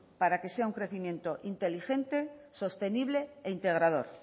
para que sea un crecimiento inteligente sostenible e integrador